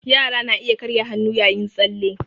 Yara na iya karya hannu yayin tsalle